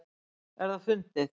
Er það fundið?